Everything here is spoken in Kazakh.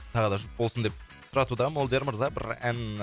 тағы да жұп болсын деп сұратуда молдияр мырза бір ән